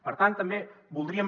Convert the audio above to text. per tant també voldríem